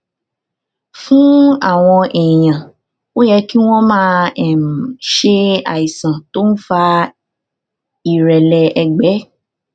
fún àwọn èèyàn ó yẹ kí wón máa um ṣe àìsàn tó ń fa ìrẹlẹ ẹgbẹ